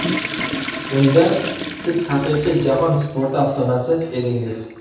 Unda siz haqiqiy jahon sporti afsonasi edingiz.